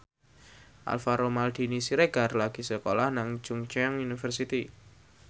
Alvaro Maldini Siregar lagi sekolah nang Chungceong University